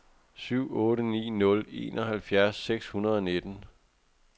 syv otte ni nul enoghalvfjerds seks hundrede og nitten